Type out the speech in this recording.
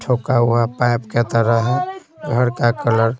छोका हुआ पाइप के तरह घर का कलर --